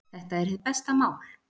Þetta er hið besta mál.